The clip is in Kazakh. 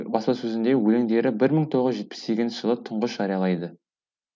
баспасөзінде өлеңдері бір мың тоғыз жүз жетпіс сегізінші жылы тұңғыш жариялайды